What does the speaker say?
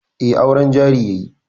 Eh, auren jari yayi